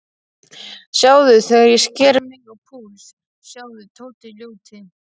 Sjáðu þegar ég sker mig á púls, sjáðu, Tóti ljóti.